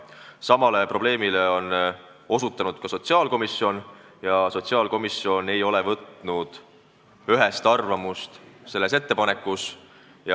Samale probleemile on osutanud ka sotsiaalkomisjon, kes ei ole ühest arvamust selle ettepaneku kohta kujundanud.